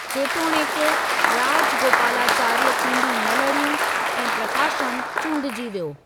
जेतोणिकि, राजगोपालाचारीअ चूंडू न लड़ियूं ऐं प्रकाशम चूंडिजी वियो।